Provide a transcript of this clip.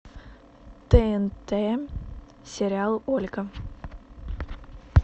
тнт сериал ольга